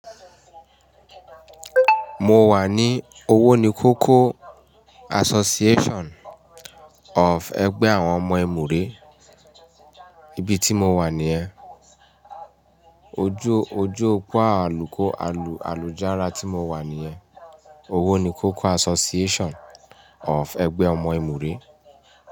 Mo wà ní Owónikókó Association of ẹgbẹ́ àwọn ọmọ Emure. Ibi tí mo wà nìyẹn. Ojú ojú pọ́ àlùkò àlù àlùjára tí mo wà nìyẹn. Owó ni kókó Association of ẹgbẹ́ ọmọ Emure.